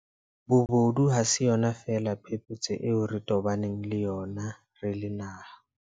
Bobodu ha se yona feela phephetso eo re tobaneng le yona re le naha.